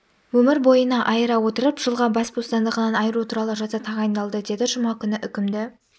өмір бойына айыра отырып жылға бас бостандығынан айыру туралы жаза тағайындалды деді жұма күні үкімді